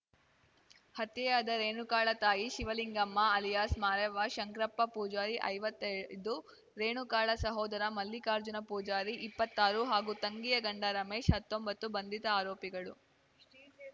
ಹತ್ಯೆಯಾದ ರೇಣುಕಾಳ ತಾಯಿ ಶಿವಲಿಂಗಮ್ಮ ಅಲಿಯಾಸ್‌ ಮಾರೆವ್ವ ಶಂಕ್ರಪ್ಪ ಪೂಜಾರಿ ಐವತ್ತೈದು ರೇಣುಕಾಳ ಸಹೋದರ ಮಲ್ಲಿಕಾರ್ಜುನ ಪೂಜಾರಿ ಇಪ್ಪತ್ತಾರು ಹಾಗೂ ತಂಗಿಯ ಗಂಡ ರಮೇಶ್ ಹತ್ತೊಂಬತ್ತು ಬಂಧಿತ ಆರೋಪಿಗಳು